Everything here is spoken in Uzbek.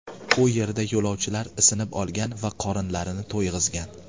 U yerda yo‘lovchilar isinib olgan va qorinlarini to‘yg‘izgan.